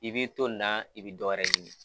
I b'i to na i bɛ dɔ wɛrɛ ɲini.